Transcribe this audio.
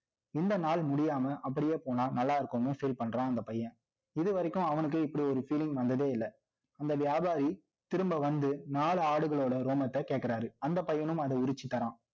இந்த நாள் முடியாம, அப்படியே போனா, நல்லா இருக்கும்னு feel பண்றான், அந்தப் பையன். இது வரைக்கும், அவனுக்கே இப்படி ஒரு feeling வந்ததே இல்லைஅந்த வியாபாரி, திரும்ப வந்து, நாலு ஆடுகளோட ரோமத்தை கேட்கிறாரு. அந்த பையனும் அதை உறிச்சு தரான்